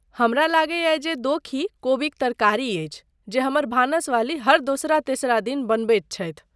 हमरा लगैयै जे दोषी कोबीक तरकारी अछि जे हमर भानसवाली हर दोसरा तेसरा दिन बनबैत छथि।